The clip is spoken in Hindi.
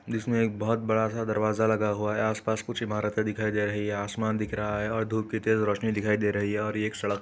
जिसमे एक बहोत बड़ा सा दरवाजा लगा हुआ है। आस पास कुछ इमारते दिखाई दे रही है। आसमान दिख रहा है और घुप की तेज रोशनी दिखाई दे रही है और ये एक सड़क --